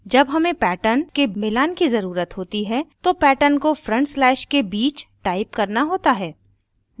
जब हमें patterns के मिलान की ज़रुरत होती है तो patterns को front slashes के बीच टाइप करना होता है